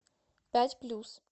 пять плюс